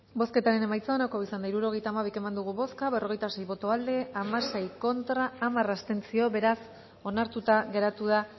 bozketaren emaitza onako izan da hirurogeita hamabi eman dugu bozka berrogeita sei boto aldekoa hamasei contra hamar abstentzio beraz onartuta geratu da